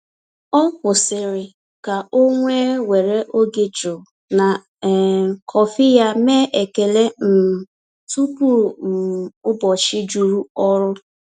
Ọ kwụsịrị ka o wee were oge jụụ na um kọfị ya mee ekele um tupu um ụbọchị juru ọrụ.